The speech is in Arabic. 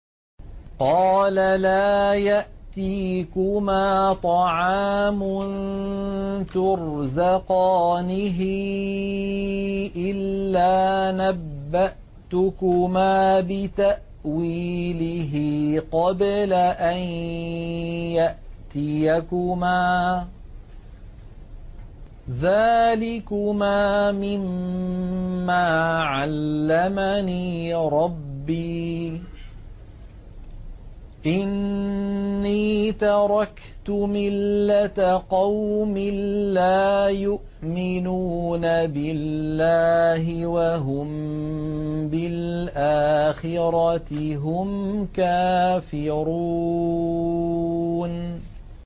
قَالَ لَا يَأْتِيكُمَا طَعَامٌ تُرْزَقَانِهِ إِلَّا نَبَّأْتُكُمَا بِتَأْوِيلِهِ قَبْلَ أَن يَأْتِيَكُمَا ۚ ذَٰلِكُمَا مِمَّا عَلَّمَنِي رَبِّي ۚ إِنِّي تَرَكْتُ مِلَّةَ قَوْمٍ لَّا يُؤْمِنُونَ بِاللَّهِ وَهُم بِالْآخِرَةِ هُمْ كَافِرُونَ